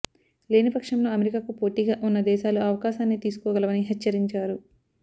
లేనిపక్షంలో అమెరికాకు పోటీగా వున్న దేశాలు ఆ అవకాశాన్ని తీసుకోగలవని హెచ్చరించారు